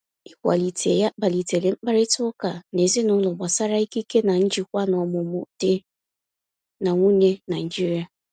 Ịkwalite ya kpalitere mkparịta ụka n’ezinụlọ gbasara ikike na njikwa n’ọmụmụ di na nwunye Naijiria.